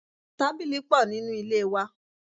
Tábìlì pò nínú ilé wa.